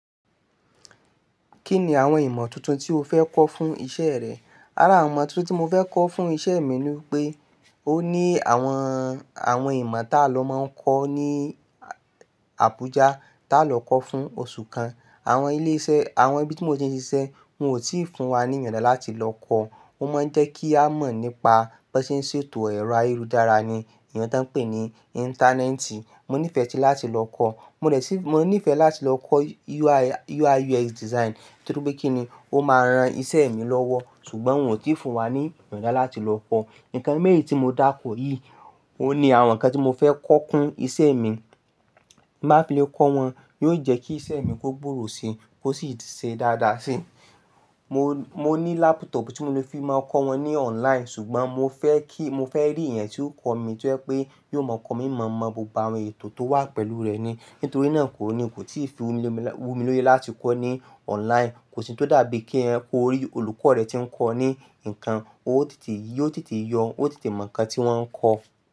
Kíni àwọn ìmọ̀ tuntun tí o fẹ́ kọ́ fún iṣẹ́rẹ? Ara àwọn ìmọ̀ tuntun tí mo fẹ́kọ́ fún iṣẹ́ mi ni pé, ó ní àwọn, àwọn ìmọ̀ tá ló máa ń kọ́ ní Abuja, tá ló kọ́ fún oṣù kan. Àwọn ilé iṣẹ́, àwọn ibi tí mo ti ń ṣiṣẹ́ wọn ò tí ì fún wa ní ìyọda láti lọ kọ́. Wọ́n máa ń jẹ́ kí a mọ̀ nípa bóse ń ṣètò ẹ̀rọ ayélujára ni, èyen tó ń pè ní Íńtánẹ́ẹ̀tì. Mo nífẹ̀ẹ́ sí láti lọ kọ́, mo rẹ̀ sí, mo nífẹ̀ẹ́ láti lọ kọ́ UI, UI, UX design, nítorí pé kí ni, ó máa ran iṣẹ́ mi lọ́wọ́. Ṣùgbọ́n wọ́n òtí ì fún wa ní ìyọda láti lọ kọ́. Ǹkan méjì tí mo dárukọ yìí, óní àwọn ǹkan tí mo fẹ́ kọ́ fún iṣẹ́ mi. Bí mo bá fi lè kọ́ wọn, yóò jẹ́ kí iṣẹ́ mi kó gbòwò si, kó sì ṣe dáadáa si. Mo, mo ní lápútọ̀pù tí mo lè fi máa ń kọ́ wọn ní online, ṣùgbọ́n mo fẹ́ kí, mo fẹ́ rí ẹ̀yán tí o kọ́ mi tí jẹ pé, yóò ma kọ́ mi mọ̀ọ́ma bo àwọn ètò tó wà pẹ̀lú rẹ̀ ni. Nítorí náà kòní kò tí ì fi wumi, wumi lórí láti kọ́ ní online. Kò sí ohun tó dàbí kí ẹ kó rí olùkọ́ rẹ tí ń kọ́ ní ǹkan, ótètè yí, ó tètè yọ, ó tètè mọ̀ ǹkan tí wọ́n ń kọ́.